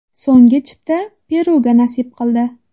So‘nggi chipta Peruga nasib qildi.